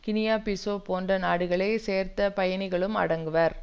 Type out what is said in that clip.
Guinea Bissau போன்ற நாடுகளை சேர்ந்த பயணிகளும் அடங்குவர்